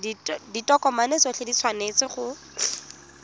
ditokomane tsotlhe di tshwanetse go